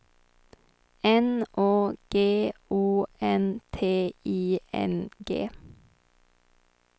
N Å G O N T I N G